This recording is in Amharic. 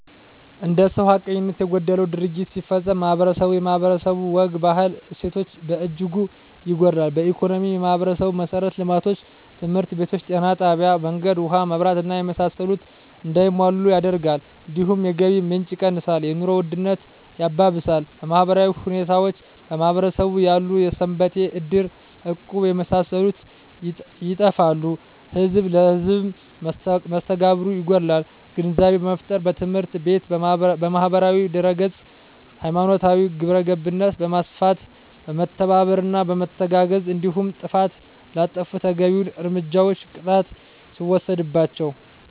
አንድ ሰው ሀቀኝነት የጎደለው ድርጊት ሲፈፀም ማህበረስቡ የማህበረሰቡ ወግ ባህል እሴቶች በእጅጉ ይጎዳል በኢኮኖሚ የማህበረሰቡን መሠረተ ልማቶች( ትምህርት ቤቶች ጤና ጣቢያ መንገድ ውሀ መብራት እና የመሳሰሉት) እንዳይሟሉ ያደርጋል እንዲሁም የገቢ ምንጭ የቀንሳል የኑሮ ውድነት ያባብሳል በማህበራዊ ሁኔታዎች በማህበረሰቡ ያሉ ሰንበቴ እድር እቁብ የመሳሰሉት ይጠፋሉ ህዝብ ለህዝም መስተጋብሩ ይጎዳል ግንዛቤ በመፍጠር በትምህርት ቤት በማህበራዊ ድህረገፅ ሀይማኖታዊ ግብረገብነት በማስፋት በመተባበርና በመተጋገዝ እንዲሁም ጥፍት ላጠፉት ተገቢዉን እርምጃና ቅጣት ሲወሰድባቸው